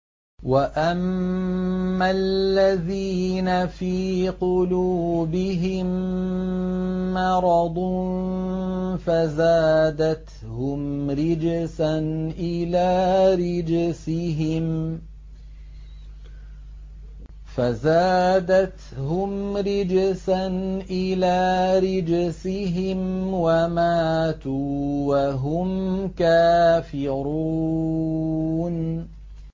وَأَمَّا الَّذِينَ فِي قُلُوبِهِم مَّرَضٌ فَزَادَتْهُمْ رِجْسًا إِلَىٰ رِجْسِهِمْ وَمَاتُوا وَهُمْ كَافِرُونَ